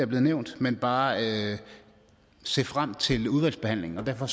blevet nævnt men bare se frem til udvalgsbehandlingen og derfor